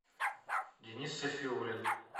денис сафиулин